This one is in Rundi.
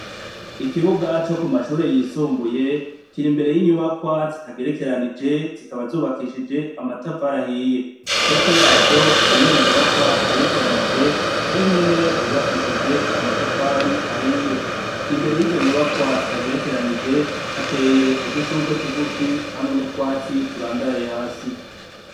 Ikibuga co ku mashure yisumbuye, kiri imbere y'inyubakwa zitagerekanije , zikaba zubakishije amatafari ahiye. Hepfo yazo hari iyindi nyubakwa igerekanije nayo nynene yubakishije amatafari ahiye. Imbere yizo nyubakwa zitagerekanije hateye udushurwe tugufi hamwe n'utwatsi turandaraye hasi.